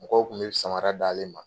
Mɔgɔw kun be samara d'ale ma